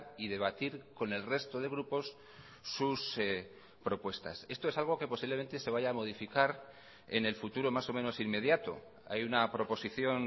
y debatir con el resto de grupos sus propuestas esto es algo que posiblemente se vaya a modificar en el futuro más o menos inmediato hay una proposición